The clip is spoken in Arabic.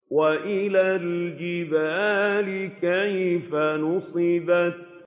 وَإِلَى الْجِبَالِ كَيْفَ نُصِبَتْ